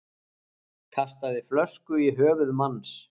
Kastaði flösku í höfuð manns